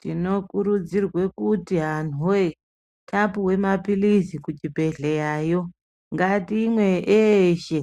Tinokurudzirwe kuti antu wee tapiwa maphirizi kuzvibhedhlerayo ngatimwe eshe.